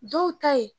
Dɔw ta ye